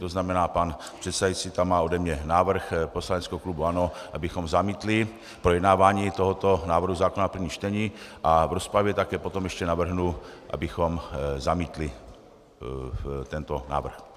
To znamená, pan předsedající tam má ode mě návrh poslaneckého klubu ANO, abychom zamítli projednávání tohoto návrhu zákona v prvním čtení, a v rozpravě také potom ještě navrhnu, abychom zamítli tento návrh.